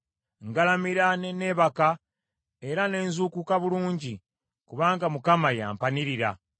Ngalamira ne neebaka, era ne nzuukuka bulungi, kubanga Mukama ye ampanirira.